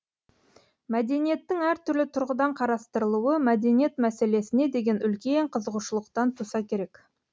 мәдениеттің әртүрлі тұрғыдан қарастырылуы мәдениет мәселесіне деген үлкен қызығушылықтан туса керек